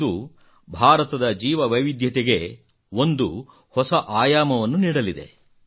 ಇದು ಭಾರತದ ಜೀವ ವೈವಿಧ್ಯತೆಗೆ ಒಂದು ಹೊಸ ಆಯಾಮವನ್ನು ನೀಡಲಿದೆ